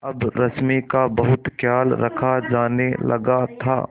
अब रश्मि का बहुत ख्याल रखा जाने लगा था